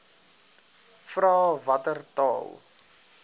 vra watter taal